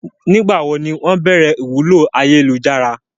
Nígbàwo ni wọ́n béèrè ìwúlò ayélujára?